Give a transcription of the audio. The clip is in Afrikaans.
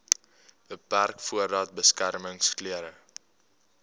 beperk voordat beskermingsklere